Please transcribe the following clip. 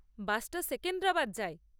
বাসটা সেকেন্দ্রাবাদ যায়।